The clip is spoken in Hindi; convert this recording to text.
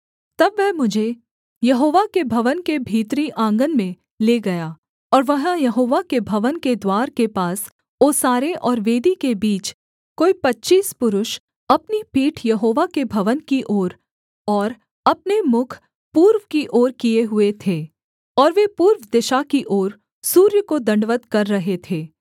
तब वह मुझे यहोवा के भवन के भीतरी आँगन में ले गया और वहाँ यहोवा के भवन के द्वार के पास ओसारे और वेदी के बीच कोई पच्चीस पुरुष अपनी पीठ यहोवा के भवन की ओर और अपने मुख पूर्व की ओर किए हुए थे और वे पूर्व दिशा की ओर सूर्य को दण्डवत् कर रहे थे